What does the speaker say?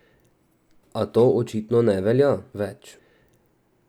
A to očitno ne velja več.